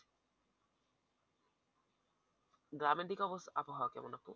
গ্রামের দিকে অবস্থা আবহাওয়া কেমন আপু?